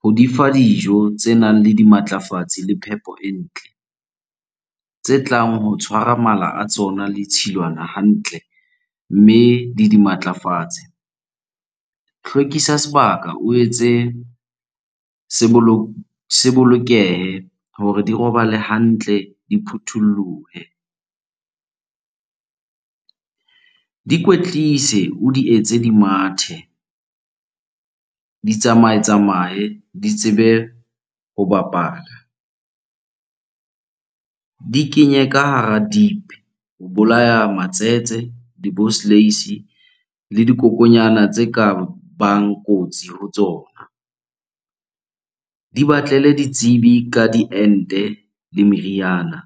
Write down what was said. ho di fa dijo tse nang le dimatlafatsi le phepo e ntle. Tse tlang ho tshwara mala a tsona le tshilwana hantle mme le di matlafatse. Hlwekisa sebaka, o etse se bolokehe hore di robale hantle, di phutholohe. Di kwetlise, o di etse di mathe, di tsamaye, tsamaye di tsebe ho bapala. Di kenye ka hara dip ho bolaya matsete, di le dikokonyana tse ka bang kotsi ho tsona. Di batlele ditsebi ka diente le meriana.